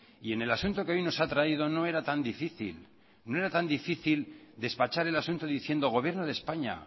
y en el asunto que hoy nos ha traído no era tan difícil no era tan difícil despachar el asunto diciendo gobierno de españa